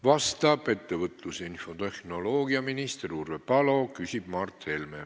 Vastab ettevõtlus- ja infotehnoloogiaminister Urve Palo, küsib Mart Helme.